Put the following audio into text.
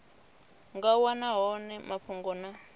nga wana hone mafhungo na